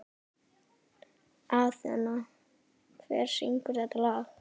Athena, hver syngur þetta lag?